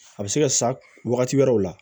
A bɛ se ka sa wagati wɛrɛw la